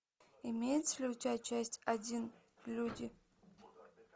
имеется ли у тебя часть один люди